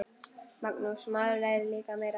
Magnús: Maður lærir líka meira.